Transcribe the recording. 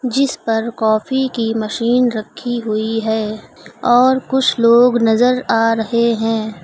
जिस पर कॉफ़ी की मशीन रखी हुई है और कुछ लोग नजर आ रहे हैं।